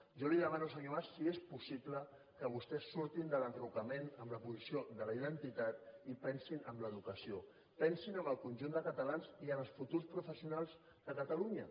jo li demano senyor mas si és possible que vostès surtin de l’enrocament en la posició de la identitat i pensin en l’educació pensin en el conjunt de catalans i en els futurs professionals de catalunya